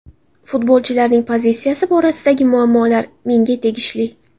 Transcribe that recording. Futbolchilarning pozitsiyasi borasidagi muammolar menga tegishli.